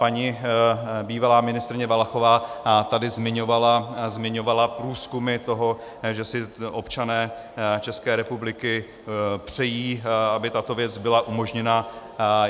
Paní bývalá ministryně Valachová tady zmiňovala průzkumy toho, že si občané České republiky přejí, aby tato věc byla umožněna.